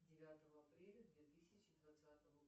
девятого апреля две тысячи двадцатого